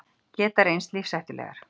Geta reynst lífshættulegar